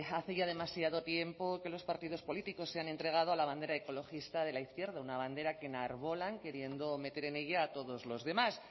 hace ya demasiado tiempo que los partidos políticos se han entregado a la bandera ecologista de la izquierda una bandera que enarbolan queriendo meter en ella a todos los demás